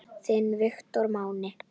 Þinn Viktor Máni.